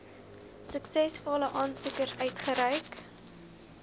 suksesvolle aansoekers uitgereik